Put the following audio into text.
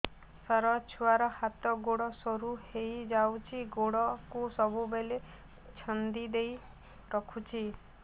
ସାର ଛୁଆର ହାତ ଗୋଡ ସରୁ ହେଇ ଯାଉଛି ଗୋଡ କୁ ସବୁବେଳେ ଛନ୍ଦିଦେଇ ରଖୁଛି